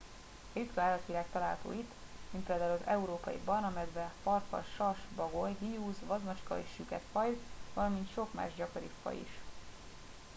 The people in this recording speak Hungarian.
ritka állatvilág található itt mint például az európai barna medve farkas sas bagoly hiúz vadmacska és a süketfajd valamint sok más gyakoribb faj is